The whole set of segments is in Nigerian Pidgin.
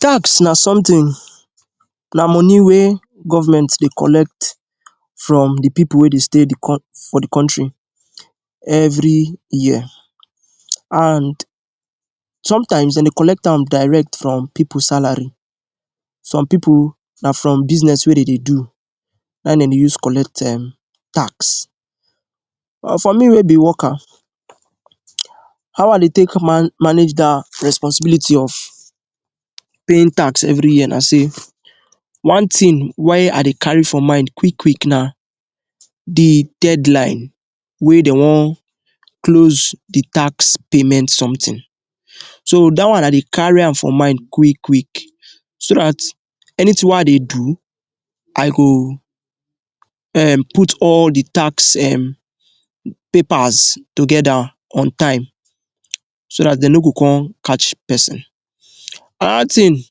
tax na something na money wey government dey collect from the people wey dey stay the coun for the country every year and sometimes, dem dey collect am direct from people salary. Some people na from business wey dem dey do na im dem dey use collect um tax. For me wey be worker, how I dey take man manage that responsibility of paying tax every year na say one thing why I dey carry for mind quick quick na the deadline wey dey wan close the tax payment something. So dat one I dey carry am for mind quick quick so dat anything wey I dey do, I go um put all the tax um papers together on time so that they no go come catch person. Another thing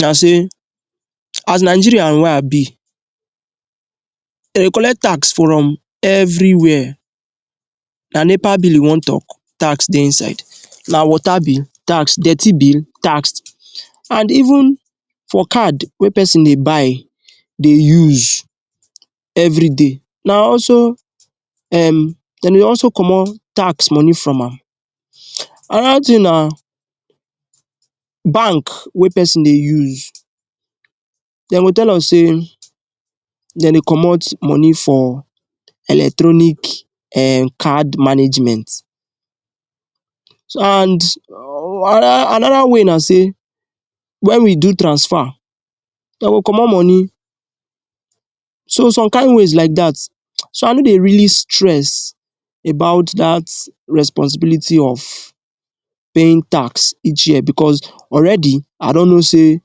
na say as Nigerian wey I be, dem collect tax from every where. Na NEPA bill you wan talk, tax dey inside; na water bill, tax; dirty bill, tax and even for card wey person dey buy dey use everyday na also um dem dey also comot tax money from am. Another thing na bank wey person dey use dem go tell am say dem dey comot money for electronic um card management so and? another another way na say when we do transfer dey go comot money so some kain ways like that. So I no dey really stress about that responsibility of paying tax each year because already I don know say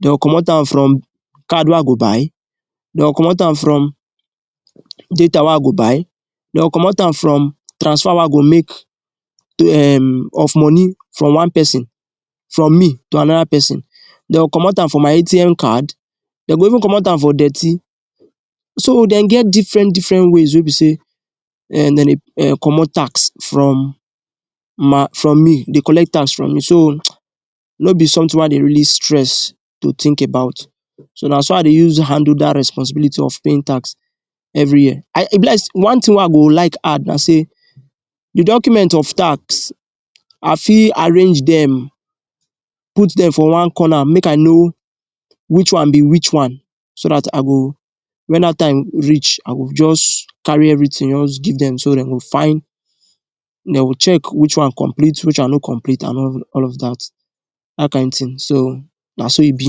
dem go comot am from card wey I go buy, dem go comot am from data wey I go buy dem go comot am from transfer wey I go make um of money from one person, from me to another person, dem go comot am from my ATM card, dem go even comot am for dirty. So dem get difren difren ways wey be say um dem dey um comot tax from my from me um dey collect tax from me. So no be something wey I dey really stress to think about. So na so I dey use handle that responsibility of paying tax. I e be like say one thing wey I go like add na say the document of tax, I fit arrange dem, put dem for one corner make I know which one be which one so that I go when that time reach I go just carry everything just give dem so dem go find dey go check which one complete which one no complete and all of that that kain thing, so na so e be.